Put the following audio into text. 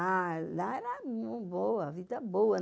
Ah, lá era uma vida boa.